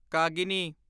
ਕਾਗਿਨੀ